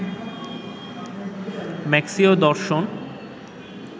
মার্ক্সীয় দর্শন